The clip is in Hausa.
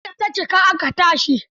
Eh, sai da ta cika aka tashi.